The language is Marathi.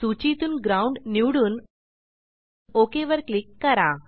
सूचीतून ग्राउंड निवडून ओक वर क्लिक करा